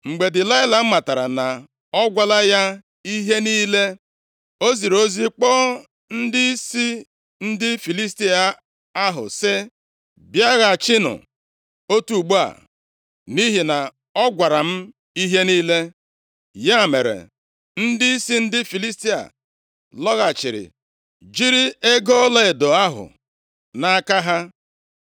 Mgbe Delaịla matara na ọ gwala ya ihe niile, o ziri ozi kpọọ ndịisi ndị Filistia ahụ, sị, “Bịaghachinụ otu ugbu a, nʼihi na ọ gwara m ihe niile.” Ya mere, ndịisi ndị Filistia lọghachiri jiri ego ọlaedo ahụ nʼaka ha.